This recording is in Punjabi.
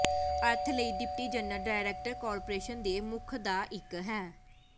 ਅਰਥ ਲਈ ਡਿਪਟੀ ਜਨਰਲ ਡਾਇਰੈਕਟਰ ਕਾਰਪੋਰੇਸ਼ਨ ਦੇ ਮੁੱਖ ਦਾ ਇੱਕ ਹੈ